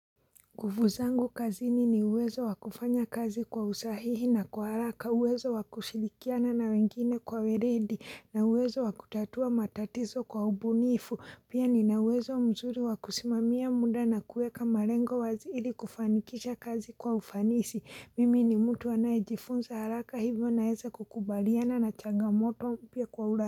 Nguvu zangu kazini ni uwezo wakufanya kazi kwa usahihi na kwa haraka uwezo wakushilikiana na wengine kwa weredi na uwezo wakutatua matatizo kwa ubunifu pia ni na uwezo mzuri wakusimamia muda na kueka marengo waziili kufanikisha kazi kwa ufanisi mimi ni mtu anayijifunza haraka hivyo naeza kukubaliana na changamoto upia kwa ura.